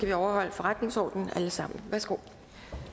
vi overholde forretningsordenen alle sammen værsgo